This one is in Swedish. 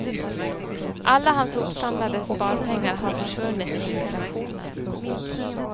Alla hans hopsamlade sparpengar har försvunnit med inflationen.